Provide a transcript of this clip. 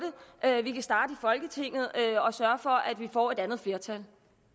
at vi kan starte i folketinget og sørge for at vi får et andet flertal